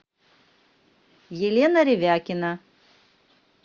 елена ревякина